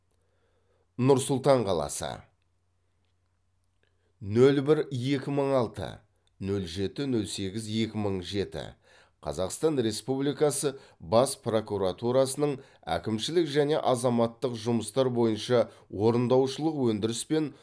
нұр сұлтан қаласы нөл бір екі мың алты нөл жеті нөл сегіз екі мың жеті қазақстан республикасы бас прокуратурасының әкімшілік және азаматтық жұмыстар бойынша орындаушылық өндіріс пен